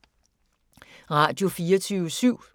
Radio24syv